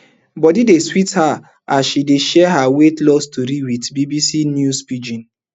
bodi dey sweet her as she dey share her weight loss tori wit bbc news pidgin